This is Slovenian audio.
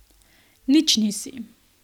Nič nisi.